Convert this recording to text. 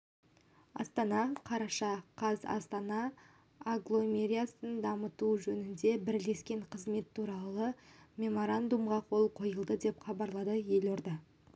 астана қараша қаз астана агломерациясын дамыту жөніндегі бірлескен қызмет туралы меморандумға қол қойылды деп хабарлады елорда